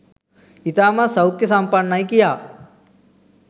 ඉතාමත් සෞඛ්‍ය සම්පන්නයි කියා.